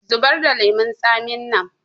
Zubar da lemun tsamin nan!